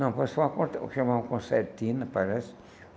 Não, apareceu uma chamavam concertina, parece.